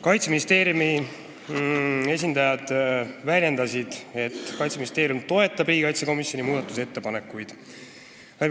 Kaitseministeeriumi esindajad toetavad riigikaitsekomisjoni muudatusettepanekuid.